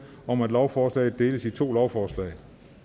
om at lovforslaget deles i to lovforslag